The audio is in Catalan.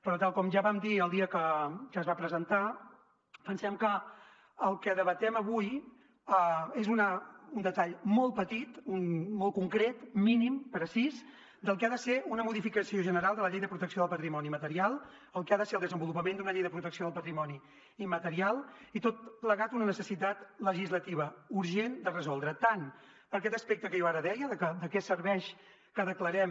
però tal com ja vam dir el dia que es va presentar pensem que el que debatem avui és un detall molt petit molt concret mínim precís del que ha de ser una modificació general de la llei de protecció del patrimoni material el que ha de ser el desenvolupament d’una llei de protecció del patrimoni immaterial i tot plegat una necessitat legislativa urgent de resoldre tant per aquest aspecte que jo ara deia de que de què serveix que declarem